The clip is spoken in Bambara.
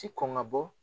Ti kɔn ka bɔ